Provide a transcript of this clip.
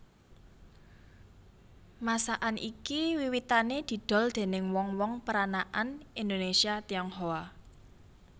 Masakan iki wiwitané didol déning wong wong peranakan Indonésia Tionghoa